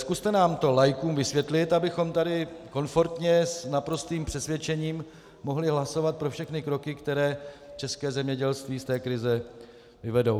Zkuste to nám laikům vysvětlit, abychom tady komfortně s naprostým přesvědčením mohli hlasovat pro všechny kroky, které české zemědělství z té krize vyvedou.